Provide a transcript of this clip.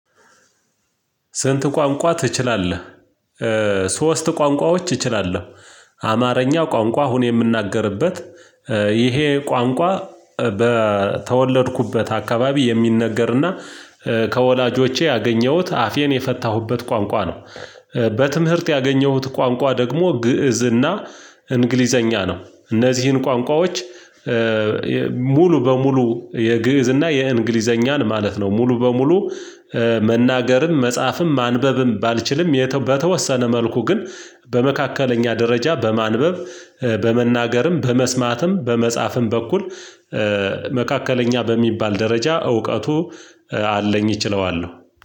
ስንት ቋንቋ ትችላለህ? ሶስት ቋንቋዎች እችላለሁ አማርኛ ቋንቋ አሁን የምናገርበት ይሄ ቋንቋ በተወለድኩበት አካባቢ የሚነገርና ከወላጆቼ ያገኘሁት አፌን የፈታሁበት ቋንቋ ነው። በትምህርት ያገኘሁት ቋንቋ ደግሞ ግእዝና እንግሊዘኛ ነው። እነዚህን ቋንቋዎች በሙሉ የግእዝ እና የእንግሊዘኛን ማለት ነው ሙሉ በሙሉ መናገርም መጽሐፍም ማንበብም ባልችልም በተወሰነ መልኩ ግን በመካከለኛ ደረጃ በማንበብ በመናገርም በመስማትም በመጻፍም በኩል መካከለኛ በሚባል ደረጃ እውቀቱ አለኝ እችለዋለሁ።